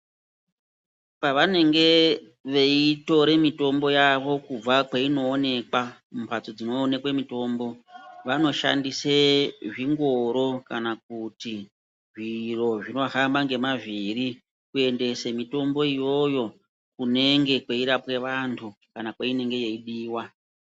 Pavanenge veyi tora mitombo yavo kubva kweino onekwa mu mbatso dzino onekwe mitombo vano shandise zvingoro kana kuti zviro zvino hamba nge mavhiri kuendese mitombo iyoyo kunenge kwei rapwe antu kana kwainenge yei diwa.